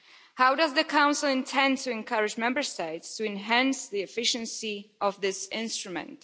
How does the Council intend to encourage Member States to enhance the efficiency of this instrument?